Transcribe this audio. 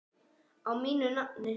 Á mínu nafni?